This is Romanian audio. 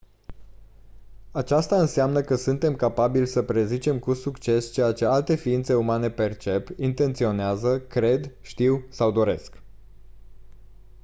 aceasta înseamnă că suntem capabili să prezicem cu succes ceea ce alte ființe umane percep intenționează cred știu sau doresc